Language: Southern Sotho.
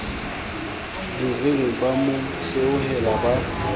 direng ba mo seohela ba